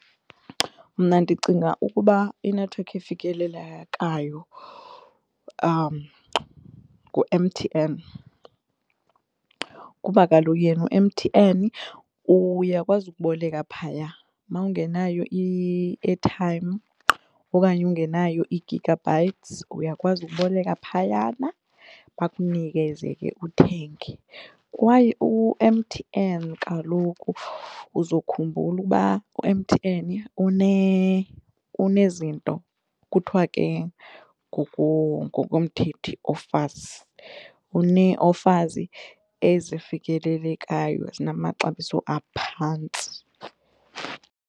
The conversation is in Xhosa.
Mna ndicinga ukuba inethiwekhi efikelelekayo ngu-M_T_N kuba kaloku yena u-M_T_N uyakwazi ukuboleka phaya mawungenayo i-airtime okanye ungenayo i-gigabytes uyakwazi ukuboleka phayana bakunikeze ke uthenge. Kwaye u-M_T_N kaloku uzokhumbula ukuba u-M_T_N unezinto kuthwa ke ngokomthethi offers, unee-offers ezifikelelekayo ezinamaxabiso aphantsi.